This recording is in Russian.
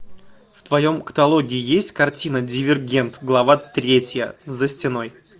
в твоем каталоге есть картина дивергент глава третья за стеной